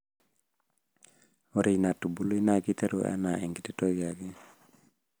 ore ina tubului naa keiteru anaa enkiti toki ake.